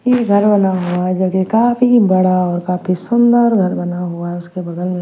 ये घर बना हुआ है जो कि काफी बड़ा और काफी सुंदर घर बना हुआ है उसके बगल मे--